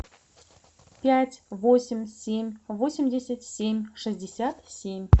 пять восемь семь восемьдесят семь шестьдесят семь